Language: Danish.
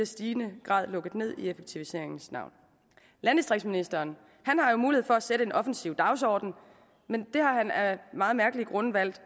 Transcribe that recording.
stigende grad lukket ned i effektiviseringens navn landdistriktsministeren har jo mulighed for at sætte en offensiv dagsorden men det har han af meget mærkelige grunde valgt